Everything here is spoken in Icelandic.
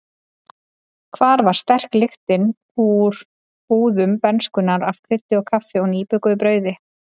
Hvar var sterk lyktin úr búðum bernskunnar af kryddi og kaffi og nýbökuðu brauði?